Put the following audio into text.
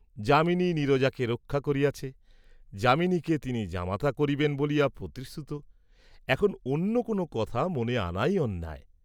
যামিনী নীরজাকে রক্ষা করিয়াছে, যামিনীকে তিনি জামাতা করিবেন বলিয়া প্রতিশ্রুত এখন অন্য কোন কথা মনে আনাই অন্যায়।